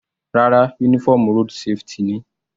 Rárá, uniform road safety ni.